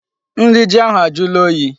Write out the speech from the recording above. Nri ji ahụ ajụla oyi.